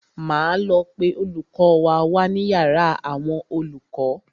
Máa lọ pe olùkọ́ wa wá ní yàrá àwọn olùkọ́.